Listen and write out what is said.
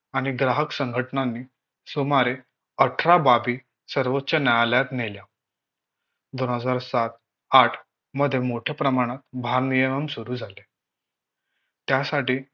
आणि ग्राहक संघटनांनी सुमारे अठरा बाबी सर्वोच्च न्यायालयात नेल्या दोन हजार सात आठ मध्ये मोठ्या प्रमाणात भारनियमन सुरु झाले त्यासाठी